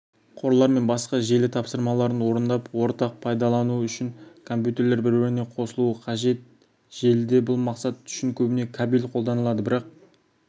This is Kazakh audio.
қорлар мен басқа желі тапсырмаларын орындап ортақ пайдалану үшін компьютерлер бір-біріне қосылуы қажет желіде бұл мақсат үшін көбіне кабель қолданылады бірақ